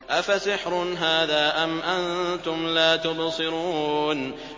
أَفَسِحْرٌ هَٰذَا أَمْ أَنتُمْ لَا تُبْصِرُونَ